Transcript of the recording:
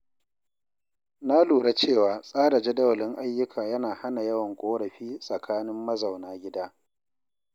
Na lura cewa tsara jadawalin ayyuka yana hana yawan ƙorafi tsakanin mazauna gida.